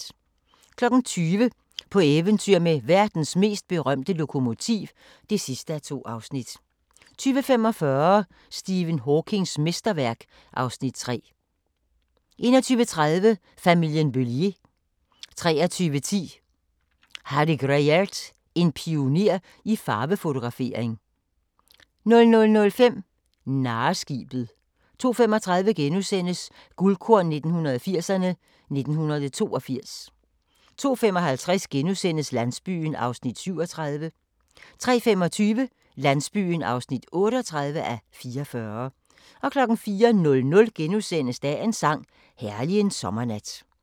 20:00: På eventyr med verdens mest berømte lokomotiv (2:2) 20:45: Stephen Hawkings mesterværk (Afs. 3) 21:30: Familien Bélier 23:10: Harry Gruyaert: En pioner i farvefotografering 00:05: Narreskibet 02:35: Guldkorn 1980'erne: 1982 * 02:55: Landsbyen (37:44)* 03:25: Landsbyen (38:44) 04:00: Dagens sang: Herlig en sommernat *